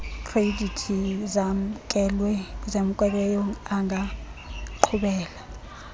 khredithi zamkelweyo angaqhubela